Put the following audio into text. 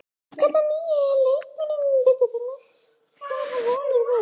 Hvern af nýju leikmönnunum bindur þú mestar vonir við?